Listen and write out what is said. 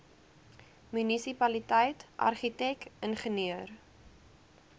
munisipaliteit argitek ingenieur